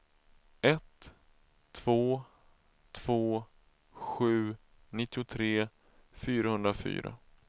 ett två två sju nittiotre fyrahundrafyra